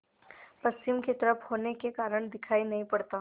पश्चिम की तरफ होने के कारण दिखाई नहीं पड़ता